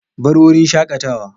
Bar wurin shakatawa.